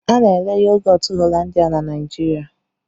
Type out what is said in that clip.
A na-ere yogọtu Hollandia na Naịjirịa.